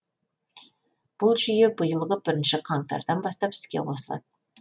бұл жүйе биылғы бірінші қаңтардан бастап іске қосылды